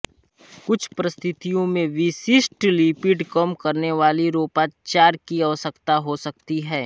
कुछ परिस्थितियों में विशिष्ट लिपिडकम करने वाले रोगोपचार की आवश्यकता हो सकती है